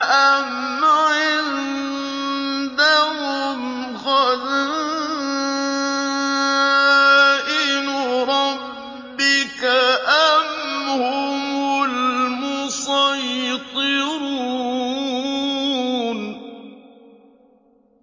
أَمْ عِندَهُمْ خَزَائِنُ رَبِّكَ أَمْ هُمُ الْمُصَيْطِرُونَ